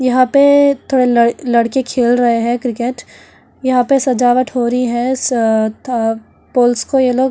यहां पे थोड़े लड़-लड़के खेल रहे हैं क्रिकेट यहां पे सजावट हो रही है स-थ-अ पोल्स को ये लोग --